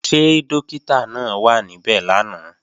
Ṣé Dọ́kítà náà wà níbẹ̀ lánàá?